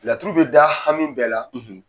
Laturu bɛ da hami bɛɛ la